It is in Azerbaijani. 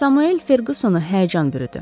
Samuel Ferqusonu həyəcan bürüdü.